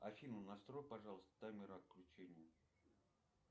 афина настрой пожалуйста таймер отключения